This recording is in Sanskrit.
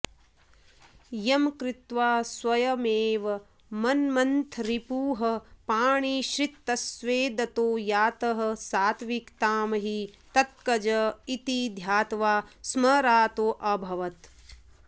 यं कृत्वा स्वयमेव मन्मथरिपुः पाणिश्रितस्वेदतो यातः सात्त्विकतां हि तत्कज इति ध्यात्वा स्मरार्तोऽभवत्